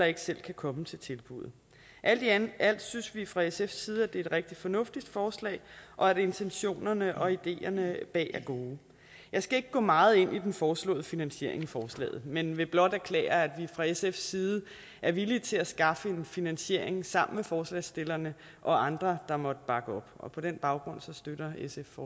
ikke selv kan komme til tilbuddet alt i alt synes vi fra sfs side at det er et rigtig fornuftigt forslag og at intentionerne og ideerne bag er gode jeg skal ikke gå meget ind i den foreslåede finansiering i forslaget men vil blot erklære at vi fra sfs side er villige til at skaffe en finansiering sammen med forslagsstillerne og andre der måtte bakke op og på den baggrund støtter sf